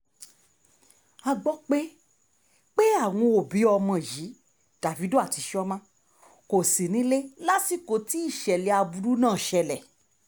a gbọ́ pé pé àwọn òbí ọmọ yìí davido àti chioma kò sí nílé lásìkò tí ìṣẹ̀lẹ̀ aburú náà ṣẹlẹ̀